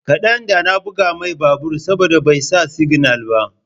kadan da na buga mai babur saboda bai sa signal ba.